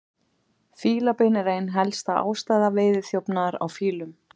Fílabein er ein helsta ástæða veiðiþjófnaðar á fílum.